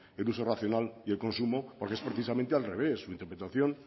el uso racional y el consumo porque es precisamente al revés su interpretación